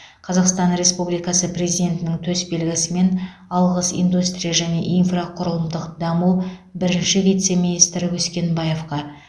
қазақстан республикасы президентінің төсбелгісімен алғыс индустрия және инфрақұрылымдық даму бірінші вице министрі өскенбаевқа